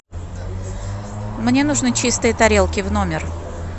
мне нужны чистые тарелки в номер